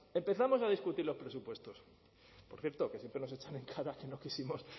empezamos a discutir los presupuestos por cierto que siempre nos echan en cara que no quisimos